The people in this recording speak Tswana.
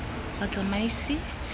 batsamaisi